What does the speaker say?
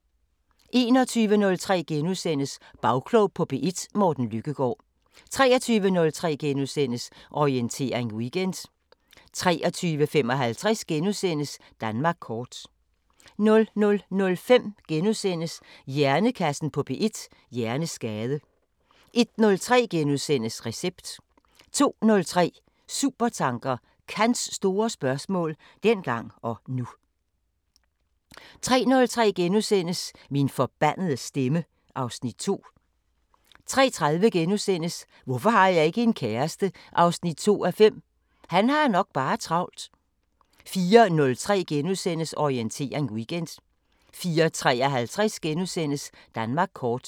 21:03: Bagklog på P1: Morten Lykkegaard * 23:03: Orientering Weekend * 23:55: Danmark kort * 00:05: Hjernekassen på P1: Hjerneskade * 01:03: Recept * 02:03: Supertanker: Kants store spørgsmål – dengang og nu 03:03: Min forbandede stemme (Afs. 2)* 03:30: Hvorfor har jeg ikke en kæreste? 2:5 – han har nok bare travlt... * 04:03: Orientering Weekend * 04:53: Danmark kort *